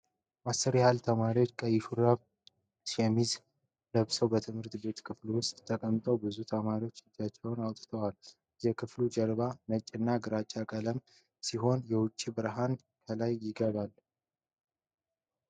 አስር ያህል ተማሪዎች ቀይ ሹራብና ሰማያዊ ሸሚዝ ለብሰው በትምህርት ቤት ክፍል ውስጥ ተቀምጠዋል። ብዙ ተማሪዎች እጃቸውን አውጥተዋል። የክፍሉ ጀርባ ነጭና ግራጫ ቀለም ሲሆን፣ የውጭ ብርሃን ከላይ ይገባል።